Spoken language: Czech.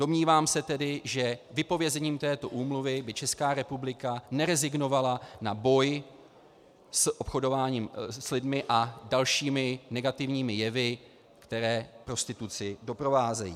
Domnívám se tedy, že vypovězením této úmluvy by Česká republika nerezignovala na boj s obchodováním s lidmi a dalšími negativními jevy, které prostituci doprovázejí.